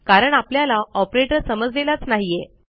कारण आपल्याला ऑपरेटर समजलेलाच नाहीये